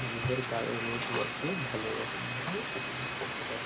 নিজেদের গায়ে রোদ মাখিয়ে ভালো ভালো রকম ভাবে উপভোগ করতে পারি।